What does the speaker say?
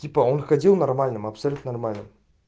типа он ходил нормальным абсолютно нормальным